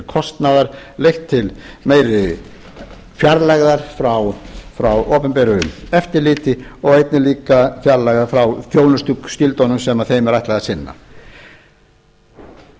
kostnaðar leitt til meiri fjarlægðar frá opinberu eftirliti og einnig fjarlægðar frá þjónustuskyldunum sem þeim er ætlað að sinna